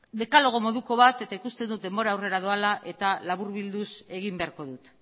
dekalogo moduko bat eta ikusten dut denbora aurrera doala eta laburbilduz egin beharko dut